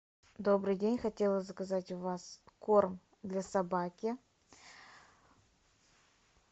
добрый день хотела заказать у вас корм для собаки